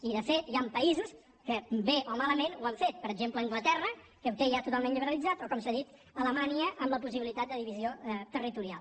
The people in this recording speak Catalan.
i de fet hi han països que bé o malament ho han fet per exemple anglaterra que ho té ja totalment liberalitzat o com s’ha dit alemanya amb la possibilitat de divisió territorial